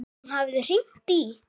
Hún hafði hringt í